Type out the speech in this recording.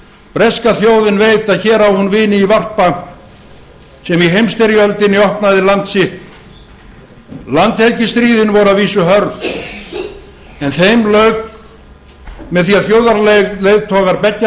breska þjóðin veit að hér á hún vini í varpa sem í heimsstyrjöldinni opnaði land sitt landhelgisstríðin voru að vísu hörð en þeim lauk með því að þjóðarleiðtogar beggja